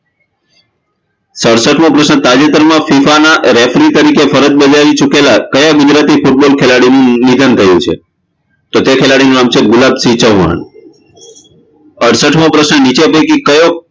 સડશઠમો પ્રશ્ન તાજેતરમાં FIFA ના referee તરીકે ફરજ બજાવી ચૂકેલા કયા ગુજરાતી football ખેલાડીનું નિધન થયું છે તો તે ખેલાડીનું નામ છે ગુલાબસિંહ ચૌહાણ અડસઠમો પ્રશ્ન નીચે પૈકી કયો